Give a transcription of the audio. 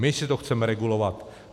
My si to chceme regulovat.